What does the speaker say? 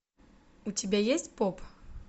у тебя есть поп